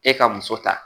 E ka muso ta